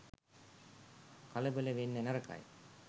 කලබල වෙන්න නරකයි.